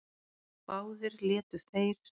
Báðir létu þeir